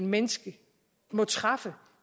menneske må træffe